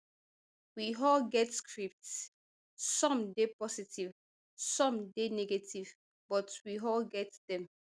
we all get scripts some dey positive some dey negative but we all get dem